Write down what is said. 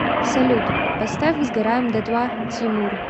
салют поставь сгораем дотла тимур